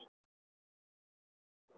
Apríl næstkomandi.